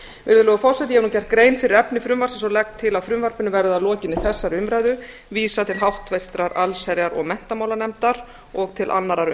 virðulegur forseti ég hef nú gert grein fyrir efni frumvarpsins og legg til að frumvarpinu verði að lokinni þessari umræðu vísað til háttvirtrar allsherjar og menntamálanefndar og til annarrar